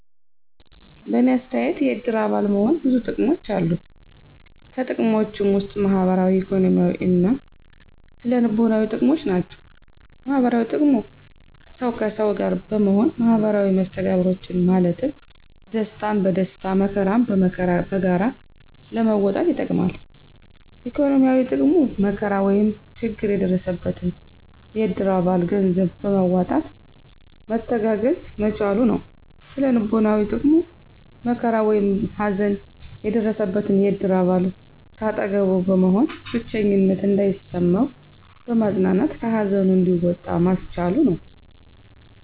በእኔ አተያየት የእድር አባል መሆን ብዙ ጥቅሞች አሉት። ከጥቅሞችም ውስጥ ማህበራዊ፣ ኢኮኖሚያዊ እና ስነ-ልቦናዊ ጥቅሞች ናቸው። -ማህበራዊ ጥቅሙ፦ ሠው ከሠው ጋር በመሆን ማህበራዊ መስተጋብሮችን ማለትም ደስታን በደስታ መከራን በመከራ በጋራ ለመወጣት ይጠቅማል። -ኢኮኖሚያዊ፦ ጥቅሙ መከራ ወይም ችግር የደረሰበትን የእድር አባል ገንዘብ በማዋጣት መተጋገዝ መቻሉ ነው። -ስነ-ልቦናዊ ጥቅሙ፦ መከራ ወይም ሀዘን የደረሠበን የእድር አባል ከአጠገቡ በመሆን ብቸኝነት እንዳይሠማው በማፅናናት ከሀዘኑ እንዲወጣ ማስቻሉ ነው።